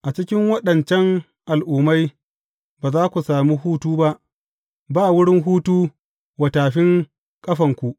A cikin waɗancan al’ummai ba za ku sami hutu ba, ba wurin hutu wa tafin ƙafanku.